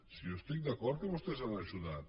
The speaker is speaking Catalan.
si jo estic d’acord que vostès han ajudat